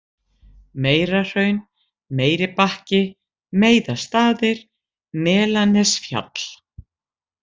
Meirahraun, Meiribakki, Meiðastaðir, Melanesfjall